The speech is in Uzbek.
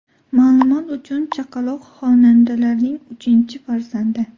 Ma’lumot uchun, chaqaloq xonandalarning uchinchi farzandi.